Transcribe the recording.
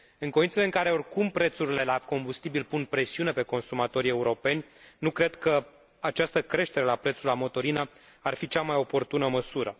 În condițiile în care oricum prețurile la combustibil pun presiune pe consumatorii europeni, nu cred că această creștere la prețul la motorină ar fi cea mai oportună măsură.